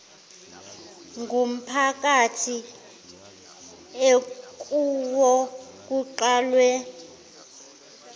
ngumphakathi ekuwo kuqalwe